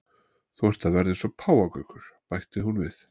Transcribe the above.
Þú ert að verða eins og páfagaukur, bætir hún við.